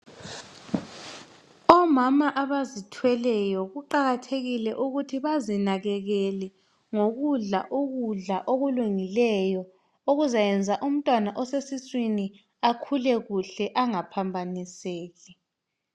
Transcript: Omama abazithweleyo kuqakathekile ukuthi bazinanzelele ngokudla ukudla okulungileyo okuzayenza umntwana osesiswini akhule kuhle angaphambaniseki